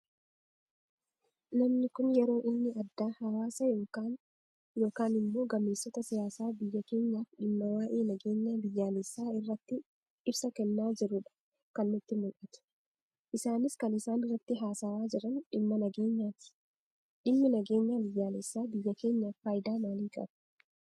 Namni Kun yeroo inni adda hawaasa yookaan immoo gameessota siyaasaa biyya keenyaaf dhimma waa'ee nageenyaa biyyaalessaa irratti ibsa kennaa jirudha kan natti mul'atu. Isaanis kan isaan irratti haasawaa jiran dhimma nageenyaati. Dhimmi nageenyaa biyyaalessaa biyya keenyaaf fayidaa maalii qaba?